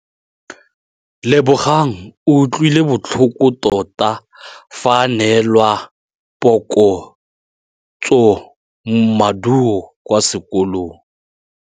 Lebogang o utlwile botlhoko tota fa a neelwa phokotsômaduô kwa sekolong.